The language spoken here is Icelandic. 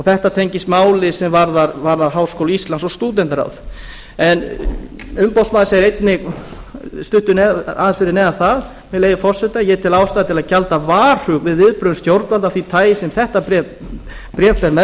þetta tengist máli sem varðar háskóla íslands og háskóla íslands og stúdentaráð umboðsmaður segir einnig aðeins fyrir neðan það með leyfi forseta ég tel ástæðu til að gjalda varhug við viðbrögðum stjórnvalda af því tagi sem þetta bréf ber með